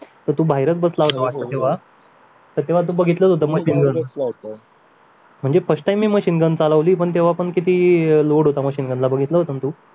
तर तू बाहेरच बसला होता वाटत तेव्हा तर तेव्हा तू बघितलंच होत ना म्हणजे first time मी machine चालवली पण तेव्हा पण किती load होता machine वर बघितलं होत ना तू